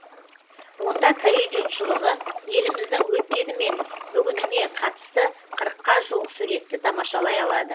онда корей жұртшылығы еліміздің өткені мен бүгініне қатысты қырыққа жуық суретті тамашалай алады